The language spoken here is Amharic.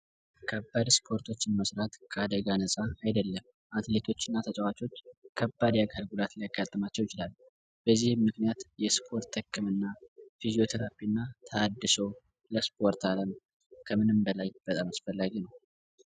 ከባድ እስፓርቶችን መስራት ከአዳጋ ነጻ አይደለም አትሌቶች እና ተጨዋቾች ከባድ የአካል ጉዳት ሊያጋጥማቸዉ ይችላል ። በዚህም ምክንያት የስፓርት ህክምና የፊዚዮ ትራብ እና ተሀዲሶ ለስፓርት አለም ከምንም በላይ አስፈላጊ ነዉ።